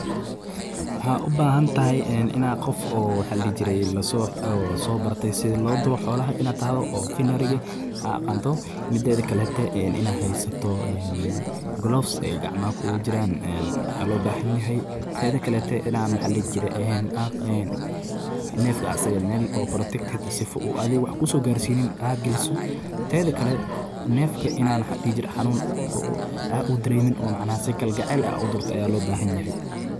Waxad ubahantahay ina gof oo waxa ladihijiree lasobartey sidha loduro xoolaha ina tahdo veterinary aa aganto, mideda kale haysato een gloves ay gacmaha kulajiran een waxa lobahanyaxay, tedakalete waxa ladihi jire een nefka asage meel oo sifo uu adhi wax kosogarsini wa ina mel galiso, tedhakale nefka ina waxa ladihijire hanun oo udaremen oo macnaha si kalgacel ah udurto aya lobahanyaxay.